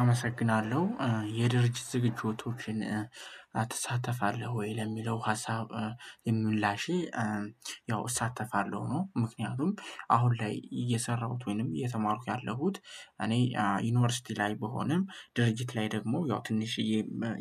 አመሰግናለሁ። የድርጅት ዝግጅቶችን አትሳተፋለህ ወይ ለሚለው ሀሳብ ምላሼ ያው እሳተፋለሁ ነው። ምክንያቱም አሁን ላይ እየሰራሁት ወይንም እየተማርኩ ያለሁት እኔ ዩኒቨርሲቲ ላይ ብሆንም ድርጅት ላይ ደግሞ ያው ትንሽዬ